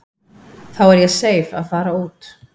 Þá er ég seif að fara út.